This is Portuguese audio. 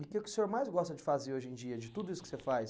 E o que que o senhor mais gosta de fazer hoje em dia, de tudo isso que você faz?